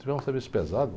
Tivemos um serviço pesado.